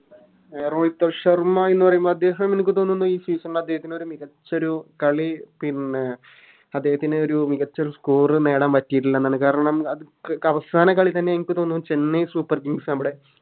രോഹിത് ശർമ്മ എന്ന് പറയുന്നത് അദ്ദേഹം എനക്ക് തോന്നുന്നു ഈ Season ൽ അദ്ദേഹത്തിൻറെ ഒരു മികച്ചൊരു കളി പിന്നെ അദ്ദേഹത്തിൻറെ ഒരു മികച്ചൊരു Score നേടാൻ പറ്റിറ്റില്ലേന്നാണ് കാരണം അത് അവസാന കളി തന്നെ എനിക്ക് തോന്നുന്നു Chennai super kings നമ്മുടെ